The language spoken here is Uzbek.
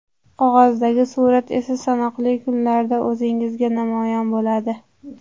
Qog‘ozdagi surat esa sanoqli kunlarda o‘ngingizda namoyon bo‘ladi.